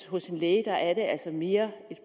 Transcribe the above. hos en læge altså mere